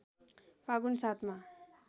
फागुन ७ मा